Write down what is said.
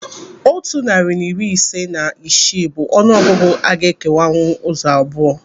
Otu narị na iri ise na isii bụ ọnụ ọgụgụ a ga-ekewanwu ụzọ abụọ.